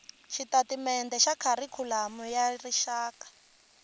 xitatimendhe xa kharikhulamu ya rixaka